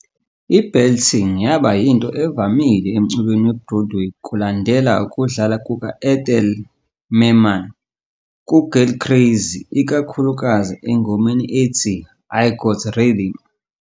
I-Belting yaba yinto evamile emculweni we-Broadway kulandela ukudlala kuka-Ethel Merman ku-Girl Crazy, ikakhulukazi engomeni ethi "I Got Rhythm".